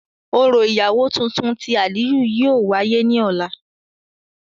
Orọ iyawo tuntun ti Aliyu yóò wáyè ni ọla.